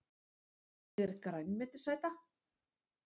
Ég er grænmetisæta!